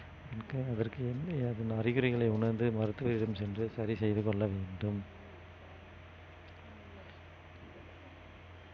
முக்கியம் அதற்கு என்ன அறிகுறிகளை உணர்ந்து மருத்துவரிடம் சென்று சரி செய்து கொள்ள வேண்டும்